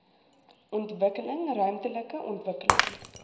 ontwikkeling ruimtelike ontwikkeling